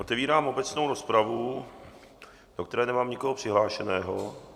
Otevírám obecnou rozpravu, do které nemám nikoho přihlášeného.